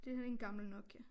Det her det en gammel Nokia